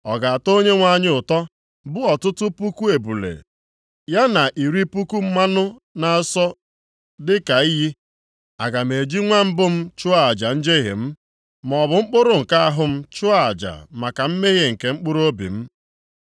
Ọ ga-atọ Onyenwe anyị ụtọ, bụ ọtụtụ puku ebule, ya na iri puku mmanụ na-asọ dịka iyi? Aga m eji nwa mbụ m chụọ aja njehie m, maọbụ mkpụrụ nke ahụ m chụọ aja maka mmehie nke mkpụrụobi m?